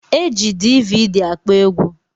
Eji dividi akpọ egwu